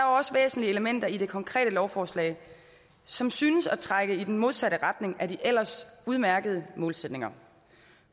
også væsentlige elementer i det konkrete lovforslag som synes at trække i den modsatte retning af de ellers udmærkede målsætninger